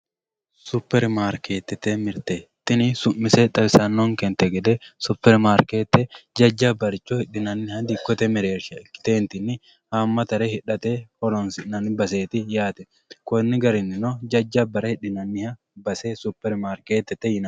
Supermarketete mirte tini su'mise ise xawisanonten gede supermarkete jajabaricho hidhinaniha dikote dikkote mereersha ikite tini haamatare hidhate horonsinani baseeti yaate koni garinino jajabare hidhinaniha base supermarketete yinani.